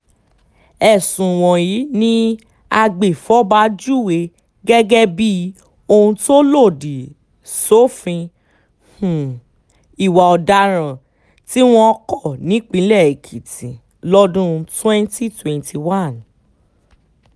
ẹ̀sùn wọ̀nyí ni agbèfọ́ba júwe gẹ́gẹ́ bíi ohun tó lòdì sófin um ìwà ọ̀daràn tí wọn kò nípìnlẹ̀ èkìtì um lọ́dún twenty twenty one